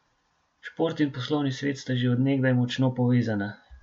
Šport in poslovni svet sta že od nekdaj močno povezana.